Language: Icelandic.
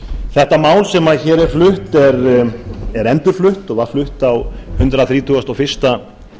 þetta mál sem hér er flutt er endurflutt og var flutt á hundrað þrítugasta og fyrsta